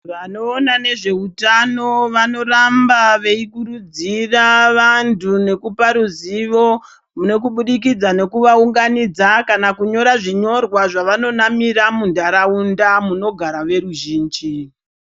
Vanoona nezveutano vanoramba veikurudzira vantu nekupa ruzivo, kubudikidza nekuvaunganidza, kana kunyora zvinyorwa zvevanonamira muntaraunda, munogara veruzvinji.